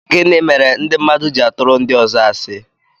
Gịnị mere ndị mmadụ ji-atụru ndi ọzọ asi?